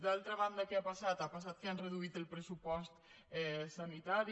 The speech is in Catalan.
d’altra banda què ha passat ha passat que han reduït el pressupost sanitari